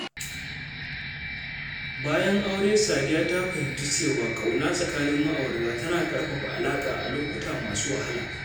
Bayan aure, Sadiya ta fahimci cewa ƙauna tsakanin ma’aurata tana ƙarfafa alaka a lokuta masu wahala.